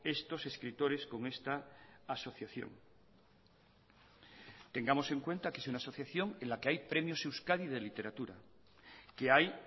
estos escritores con esta asociación tengamos en cuenta que es una asociación en la que hay premios euskadi de literatura que hay